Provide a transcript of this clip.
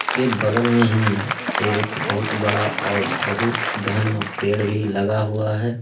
के बगल में ही एक बहुत बड़ा और बहुत घना पेड़ भी लगा हुआ है।